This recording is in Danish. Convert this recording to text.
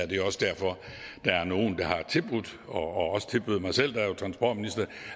det er også derfor at nogle har tilbudt og også tilbød mig selv da jeg var transportminister